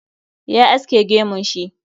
Ya aske gemun shi